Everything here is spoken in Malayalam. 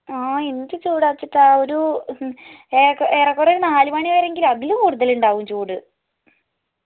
ആ എന്ത് ചൂടാ വെച്ചിട്ടാ ഒരു ഏ ഏറെക്കൊറേ നാല് മണിവരെയെങ്കിലും അതിലും കൂടുതലുണ്ടാവും ചൂട്